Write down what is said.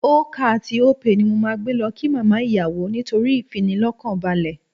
Ocar tí Opay ni mo máa gbé lọ kí màmá ìyàwó nítorí ìfinilọ́kànbalẹ̀